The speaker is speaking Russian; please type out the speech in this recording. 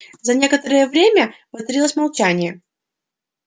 за некоторое время воцарилось молчание